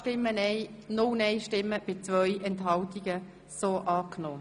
Sie haben den Antrag SVP Benoit angenommen.